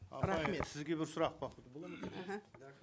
апай сізге бір сұрақ бар